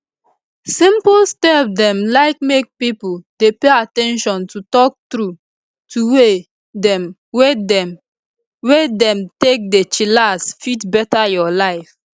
simple step dem like make pipo dey pay at ten tion to talk trueto way dem wey dem wey dem take dey chillax fit beta your life